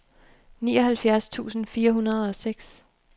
nioghalvfjerds tusind fire hundrede og seks